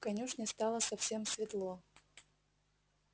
в конюшне стало совсем светло